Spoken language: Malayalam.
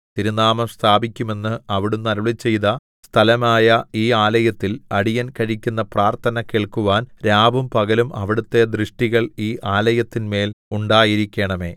തിരുനാമം സ്ഥാപിക്കുമെന്ന് അവിടുന്ന് അരുളിച്ചെയ്ത സ്ഥലമായ ഈ ആലയത്തിൽ അടിയൻ കഴിക്കുന്ന പ്രാർത്ഥന കേൾക്കുവാൻ രാവും പകലും അവിടുത്തെ ദൃഷ്ടികൾ ഈ ആലയത്തിൻമേൽ ഉണ്ടായിരിക്കേണമേ